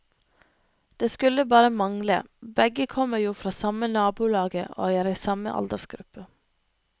Det skulle bare mangle, begge komemr jo fra samme nabolaget og er i samme aldersgruppe.